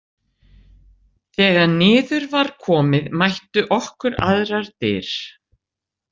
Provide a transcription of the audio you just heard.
Þegar niður var komið mættu okkur aðrar dyr.